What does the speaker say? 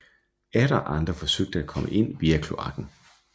Atter andre forsøgte at komme ind via kloakken